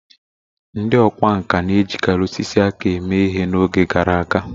Ndị ọkwá nkà na-ejikarị osisi aka eme ihe na oge gara aga